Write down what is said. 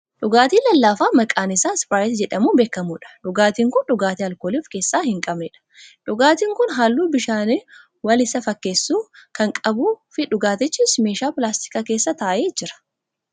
Dhugaatii lallaafaa maqaan isaa ispiraayitii jedhamuun beekkamudha. Dhugaatiin kun dhugaatii alkoolii of keessaa hin qabnedha. Dhugaatiin kun halluu bishaaniin wal isa fakkeessuu kan qabuu fi dhugaatiichis meeshaa pilaastikaa keessa taa'ee jira.